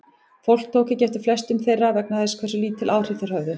Fólk tók ekki eftir flestum þeirra vegna þess hversu lítil áhrif þeir höfðu.